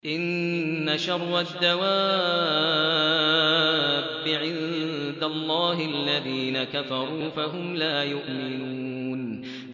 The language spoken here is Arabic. إِنَّ شَرَّ الدَّوَابِّ عِندَ اللَّهِ الَّذِينَ كَفَرُوا فَهُمْ لَا يُؤْمِنُونَ